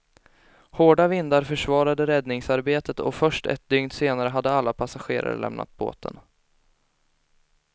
Hårda vindar försvarade räddningsarbetet och först ett dygn senare hade alla passagerare lämnat båten.